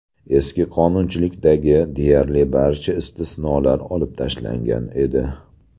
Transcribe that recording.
Eski qonunchilikdagi deyarli barcha istisnolar olib tashlangan edi.